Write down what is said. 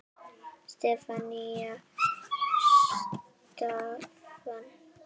Stefán: Span?!